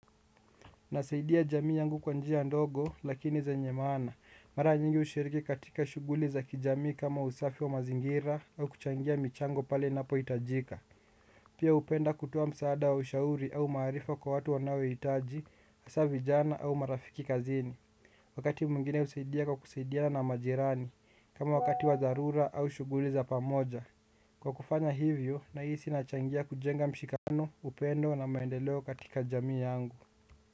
Nasaidia jamii yangu kwa njia ndogo lakini zenye maana mara nyingi ushiriki katika shuguli za kijamii kama usafi wa mazingira au kuchangia michango pale napo itajika. Pia upenda kutoa msaada wa ushauri au maarifa kwa watu wanao itaji hasa vijana au marafiki kazini. Wakati mwingine usaidia kwa kusaidiana na majirani kama wakati wa dharura au shuguli za pamoja. Kwa kufanya hivyo nahisi nachangia kujenga mshikamano upendo na maendeleo katika jamii yangu.